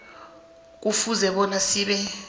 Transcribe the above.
kufuze bona sibe